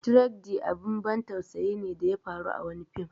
"Tragedy" abin ban tausayi ne da ya faru a fim